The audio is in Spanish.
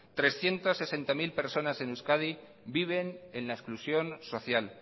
trescientos sesenta mil personas en euskadi viven en la exclusión social